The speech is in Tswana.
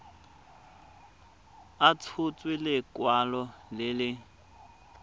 a tshotse lekwalo le le